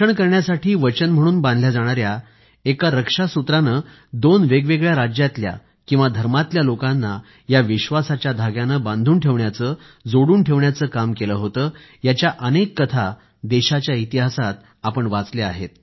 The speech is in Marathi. रक्षण करण्यासाठी वचन म्हणून बांधल्या जाणाऱ्या एका रक्षा सूत्राने दोन वेगवेगळ्या राज्यांतल्या किंवा धर्मातल्या लोकांना या विश्वासाच्या धाग्यानं बांधून ठेवण्याचं जोडून ठेवण्याचं काम केलं होतं याच्या अनेक कथा देशाच्या इतिहासात आपण वाचल्या आहेत